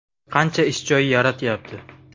Qancha ish joyi yaratyapti?